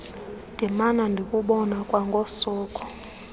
ndimana ndikubona kwangosuku